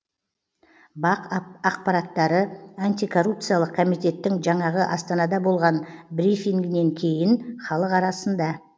бақ ақпараттары антикоррупциялық комитеттің жанағы астанада болған брифингінан кейін халық арасында